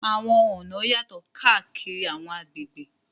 Àwọn ọ̀nà yàtọ̀ káàkiri àwọn agbègbè.